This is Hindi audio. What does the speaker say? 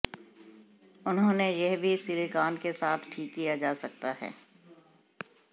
उन्होंने यह भी सिलिकॉन के साथ ठीक किया जा सकता